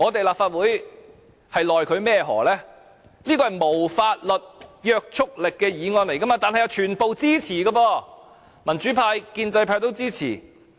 立法會也沒奈何，這是無法律約束力的議案，但全部議員也是支持的，民主派、建制派也支持。